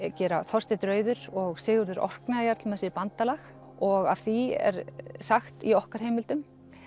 gera Þorsteinn rauður og Sigurður Orkneyjajarl með sér bandalag og af því er sagt í okkar heimildum